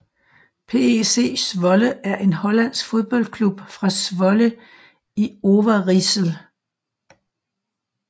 PEC Zwolle er en hollandsk fodboldklub fra Zwolle i Overijssel